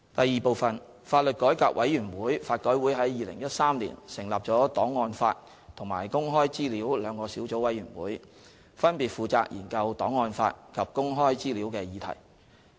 二法律改革委員會於2013年成立了檔案法及公開資料兩個小組委員會，分別負責研究檔案法及公開資料的議題。